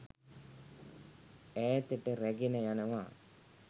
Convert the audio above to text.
ඈතට රැගෙන යනවා.